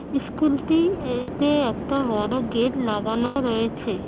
ইস্কুলটি এতে একটা বড় গেট লাগানো রয়েছে।